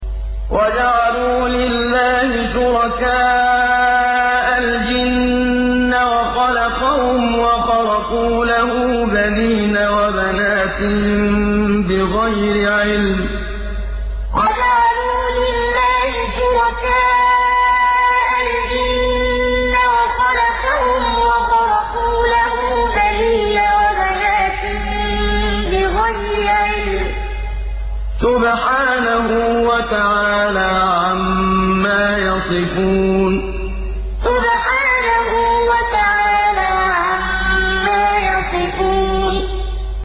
وَجَعَلُوا لِلَّهِ شُرَكَاءَ الْجِنَّ وَخَلَقَهُمْ ۖ وَخَرَقُوا لَهُ بَنِينَ وَبَنَاتٍ بِغَيْرِ عِلْمٍ ۚ سُبْحَانَهُ وَتَعَالَىٰ عَمَّا يَصِفُونَ وَجَعَلُوا لِلَّهِ شُرَكَاءَ الْجِنَّ وَخَلَقَهُمْ ۖ وَخَرَقُوا لَهُ بَنِينَ وَبَنَاتٍ بِغَيْرِ عِلْمٍ ۚ سُبْحَانَهُ وَتَعَالَىٰ عَمَّا يَصِفُونَ